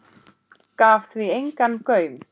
Gaf því engan gaum.